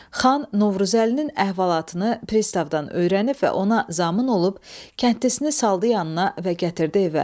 Xan Novruzəlinin əhvalatını pristavdan öyrənib və ona zamin olub, kəndlisini saldı yanına və gətirdi evə.